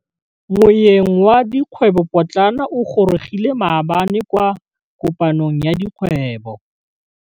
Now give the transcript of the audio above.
Moêng wa dikgwêbô pôtlana o gorogile maabane kwa kopanong ya dikgwêbô.